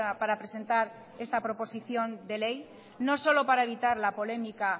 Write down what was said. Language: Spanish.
para presentar esta proposición de ley no solo para evitar la polémica